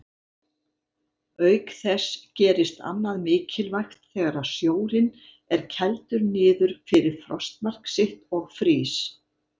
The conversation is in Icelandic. Auk þess gerist annað mikilvægt þegar sjórinn er kældur niður fyrir frostmark sitt og frýs.